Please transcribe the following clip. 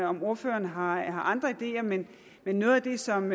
om ordføreren har andre ideer men noget af det som